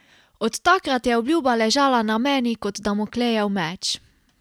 Od takrat je obljuba ležala na meni kot Damoklejev meč.